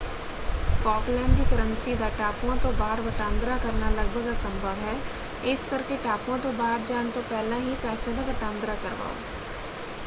Falkland ਦੀ currency ਦਾ ਟਾਪੂਆਂ ਤੋਂ ਬਾਹਰ ਵਟਾਂਦਰਾ ਕਰਨਾ ਲਗਭਗ ਅਸੰਭਵ ਹੈ ਇਸ ਕਰਕੇ ਟਾਪੂਆਂ ਤੋਂ ਬਾਹਰ ਜਾਣ ਤੋਂ ਪਹਿਲਾਂ ਹੀ ਪੈਸਿਆਂ ਦਾ ਵਟਾਂਦਰਾ ਕਰਵਾਓ।